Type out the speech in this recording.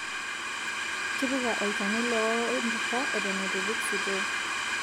Tipika olchani loor empusha Eton itu ipik sitoo